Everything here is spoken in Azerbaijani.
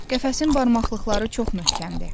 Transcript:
Qəfəsin barmaqları çox möhkəmdir.